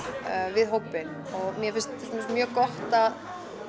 við hópinn mér finnst til dæmis mjög gott að